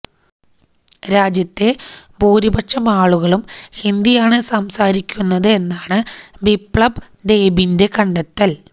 രാജ്യത്തെ ഭൂരിപക്ഷം ആളുകളും ഹിന്ദിയാണ് സംസാരിക്കുന്നത് എന്നാണ് ബിപ്ലബ് ദേബിന്റെ കണ്ടെത്തല്